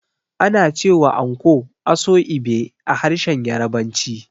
Ana cewa anko "Aso-ibe" a harshen Yarabanci.